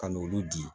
Ka n'olu di